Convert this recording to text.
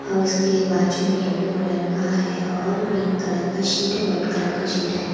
और उसके बाजू में येलो कलर का है और पिंक कलर का शीट व्हाइट कलर का शीट है।